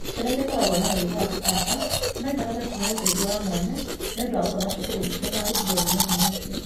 Ciana iria ikoragwo na mũrimũ wa kĩbaba no ibatare kũheo ũteithio wa mwanya nĩ ũndũ wa gũthoma cukuru matagũthumbũrwo nĩ mũrimũ ũcio.